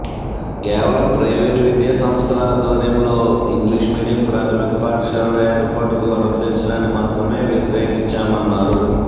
కేవలం ప్రైవేట్ విద్యా సంస్థల ఆధ్వర్యంలో ఇంగ్లిష్ మీడియం ప్రాథమిక పాఠశాలల ఏర్పాటుకు అనుమతించడాన్ని మాత్రమే వ్యతిరేకించామన్నారు